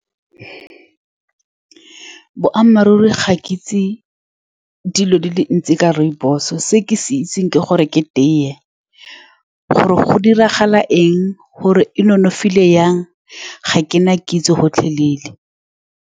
Boammaruri ga ke itse dilo di le dintsi ka rooibos-o. Se ke se itseng ke gore ke tea gore go diragala eng, gore e nonofile jang ga ke na kitso gotlhelele.